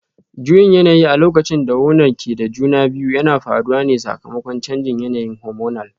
Juyin yanayi a lokacin da wonan ke da juna biyu yana faruwa ne sakamakon canjin yanayin hormonal